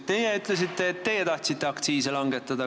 Teie ütlesite, et teie tahtsite aktsiisi langetada.